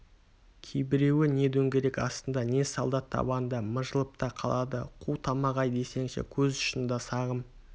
кейбіреуі не дөңгелек астында не солдат табанында мыжылып та қалады қу тамақ-ай десеңші көз ұшында сағым